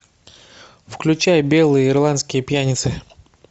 включай белые ирландские пьяницы